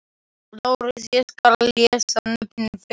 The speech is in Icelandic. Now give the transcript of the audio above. LÁRUS: Ég skal lesa nöfnin þeirra upp.